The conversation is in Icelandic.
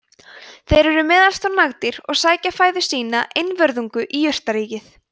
þeir eru meðalstór nagdýr og sækja fæðu sína einvörðungu í jurtaríkið